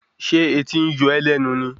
Ṣé etí ń yọ́ ó lẹ́nu ni